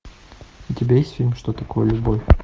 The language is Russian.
у тебя есть фильм что такое любовь